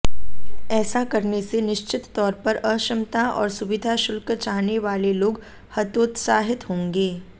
ऐसा करने से निश्चित तौर पर अक्षमता और सुविधाशुल्क चाहने वाले लोग हतोत्साहित होंगे